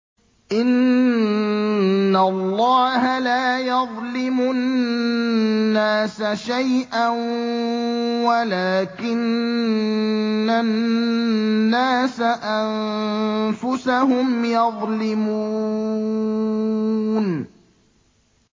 إِنَّ اللَّهَ لَا يَظْلِمُ النَّاسَ شَيْئًا وَلَٰكِنَّ النَّاسَ أَنفُسَهُمْ يَظْلِمُونَ